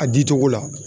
A di cogo la